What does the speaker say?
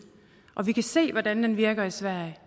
og vi kan se hvordan den virker i sverige